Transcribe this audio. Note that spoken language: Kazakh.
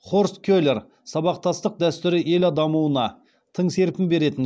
хорст келер сабақтастық дәстүрі ел дамуына тың серпін беретін